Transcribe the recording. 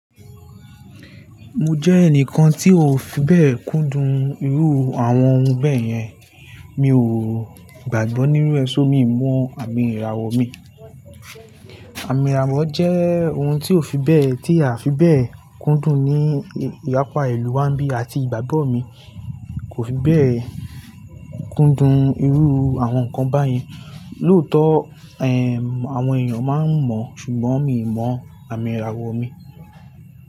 Mo jẹ́ ẹnìkan tí ó fi bẹ́ẹ̀ kúndùn irú àwọn ohun bẹ́ẹ̀ yẹn. Mi ò gbàgbọ́ nínú ẹ́ ṣó mi mọ àmì ìràwọ̀ mi. Àmì ìràwọ̀ jẹ́ ohun tí ò fi bẹ́ẹ̀, tí a fi bẹ́ẹ̀ kúndùn ní ìyapa ìlú wa bí àti ìgbàgbọ́ mi kò fi bẹ́ẹ̀ kúndùn irú àwọn nǹkan báyen. Lóòótọ́, ẹ́h, àwọn èèyàn máa ń mọ̀ ṣùgbọ́n mi mọ àmì ìràwọ̀ mi.